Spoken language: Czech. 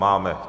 Máme.